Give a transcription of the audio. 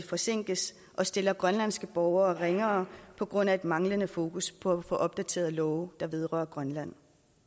forsinkes og stiller grønlandske borgere ringere på grund af et manglende fokus på at få opdateret love der vedrører grønland